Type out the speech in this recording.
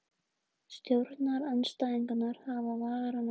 Stjórnarandstæðingar hafa varann á sér